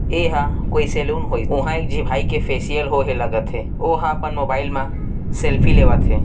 ऐ हा कोई सेलून होइस उहाँ एक जी भाई के फेसियल होए हे लगत हे ओ हा अपन मोबाइल म सेल्फी लेवत है।